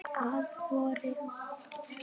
Að vori.